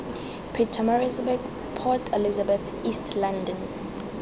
pietersburg port elizabeth east london